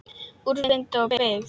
Úrvinda og beygð.